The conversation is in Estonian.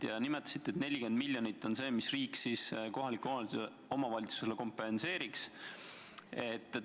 Ka nimetasite, et 40 miljonit on summa, mis riik kohalikele omavalitsustele kompenseeriks.